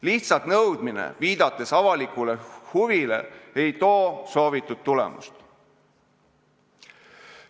Lihtsalt nõudmine, viidates avalikule huvile, ei too soovitud tulemust.